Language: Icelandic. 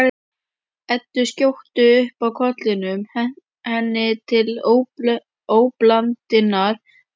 Eddu skjóta upp kollinum, henni til óblandinnar ánægju.